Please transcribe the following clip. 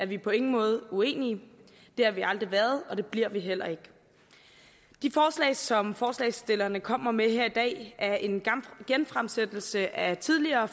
vi på ingen måde uenige det har vi aldrig været og det bliver vi heller ikke det forslag som forslagsstillerne kommer med her i dag er en genfremsættelse af et tidligere